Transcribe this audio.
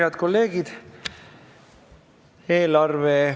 Head kolleegid!